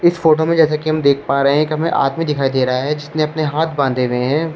इस फोटो में जैसा कि हम देख पा रहे हैं कि एक हमे आदमी दिखाई दे रहा है जिसने अपने हाथ बांधे हुए हैं ।